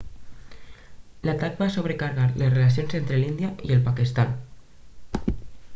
l'atac va sobrecarregar les relacions entre l'índia i el pakistan